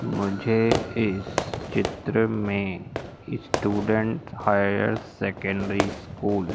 मुझे इस चित्र में स्टूडेंट हायर सेकेंडरी स्कूल --